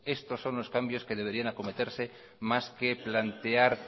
estos son los cambios que deberían acometerse más que plantear